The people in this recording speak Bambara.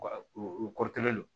Wa u kɔrɔkɛ don